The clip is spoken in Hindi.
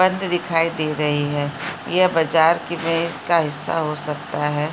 बंद दिखाई दे रही है यह बाजार की का हिस्सा हो सकता है।